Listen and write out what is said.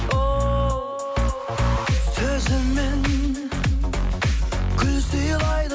ол сөзімен гүл сыйлайды